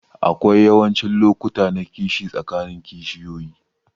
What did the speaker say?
Aƙwai yawancin lokuta na kishi tsakanin kishiyoƴi.